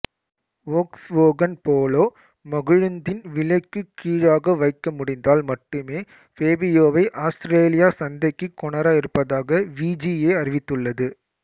Volkswagen Polo மகிழுந்தின் விலைக்குக் கீழாக வைக்க முடிந்தால் மட்டுமே ஃபேபியோவை ஆஸ்திரேலிய சந்தைக்குக் கொணர இருப்பதாக விஜிஏ அறிவித்துள்ளது